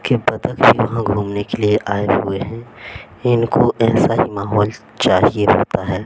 के बदक वहां घूमने के लिए आए हुए हैं इनको ऐसा ही माहौल चाहिए होता है।